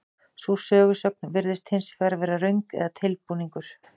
Sú sögusögn virðist hins vegar vera röng eða tilbúningur.